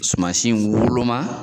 Sumasi woloma